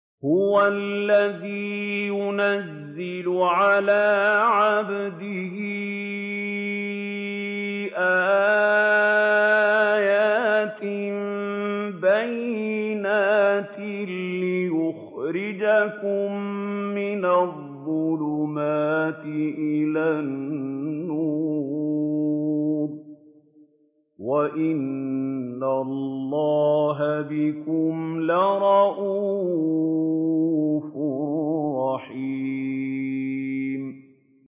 هُوَ الَّذِي يُنَزِّلُ عَلَىٰ عَبْدِهِ آيَاتٍ بَيِّنَاتٍ لِّيُخْرِجَكُم مِّنَ الظُّلُمَاتِ إِلَى النُّورِ ۚ وَإِنَّ اللَّهَ بِكُمْ لَرَءُوفٌ رَّحِيمٌ